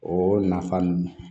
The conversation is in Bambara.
O nafa ninnu